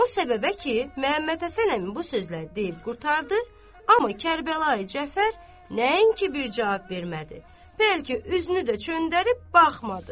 O səbəbə ki, Məhəmməd Həsən əmi bu sözləri deyib qurtardı, amma Kərbəlayı Cəfər nəinki bir cavab vermədi, bəlkə üzünü də çöndərib baxmadı.